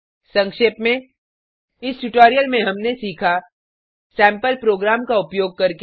संक्षेप में इस ट्यूटोरियल में हमने सीखा सैम्पल प्रोग्राम का उपयोग करके